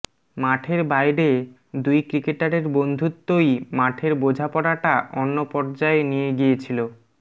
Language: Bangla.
মাঠের বাইরে দুই ক্রিকেটারের বন্ধুত্বই মাঠের বোঝাপড়াটা অন্য পর্যায়ে নিয়ে গিয়েছিল